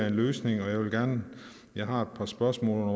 en løsning jeg har et par spørgsmål